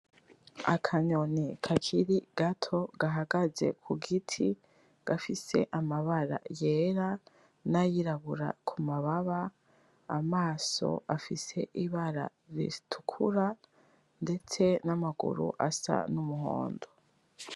Akanyoni kakiri gato gahagaze ku giti gafise amabara yera n'ayirabura kumababa amaso afise ibara ritukura ndetse n'amaguru asa n'umuhondo.